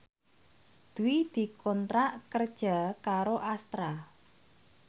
Dwi dikontrak kerja karo Astra